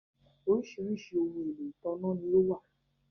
Oríṣiríṣi ohun-èlò ìtànná ni ó wà